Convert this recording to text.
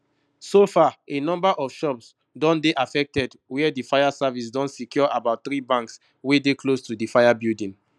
so far a number of shops don dey affected wia di fire service don secure about three banks wey dey close to di fire building